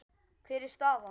Hver er staðan?